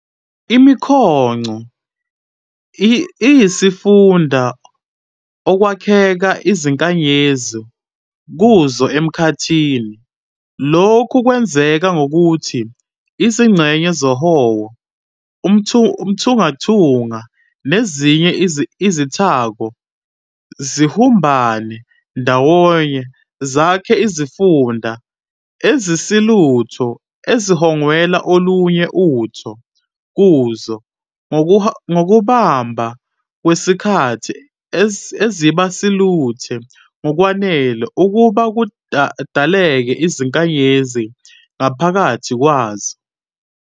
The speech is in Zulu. ImiQongo iyizifunda okwakheka izinkanyezi kuzo emkhathini, lokhu kwenzeka ngokuthi izingxenye zohowo, uthunqathunqa, nezinye izithako "zibumbane" ndawonye zakhe izifunda ezisiluthe, eziwongela olunye utho kuzo, ngokuhamba kwesikhathi eziba siluthe ngokwanele ukuba kudaleke izinkanyezi ngaphakathi kwazo.